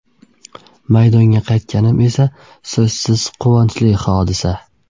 Maydonga qaytganim esa so‘zsiz quvonchli hodisa.